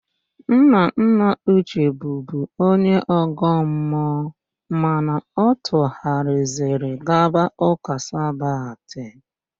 Nnanna Uche bụbu onye ọ̀gọ́ mmụọ mana ọ tụghariziri gaba ụ́kà Sabat.